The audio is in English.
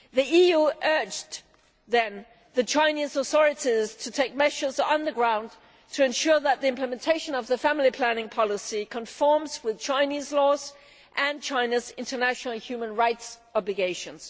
The EU urged the Chinese authorities to take measures on the ground to ensure that the implementation of the family planning policy conforms with Chinese laws and China's international human rights obligations.